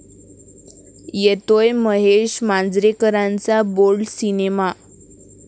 येतोय महेश मांजरेकरांचा bold cinema!